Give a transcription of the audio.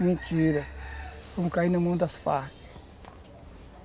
Mentira, fomos cair na mão das Farc